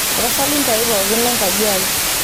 tapasali ntaai pookin lenkaji ai